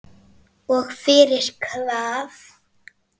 Og fyrir hvað?